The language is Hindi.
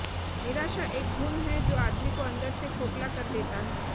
निराशा एक घुन है जो आदमी को अंदर से खोखला कर देता है